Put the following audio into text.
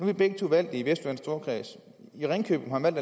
vi begge to valgt i vestjyllands storkreds i ringkøbing har man